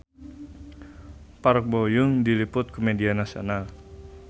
Park Bo Yung diliput ku media nasional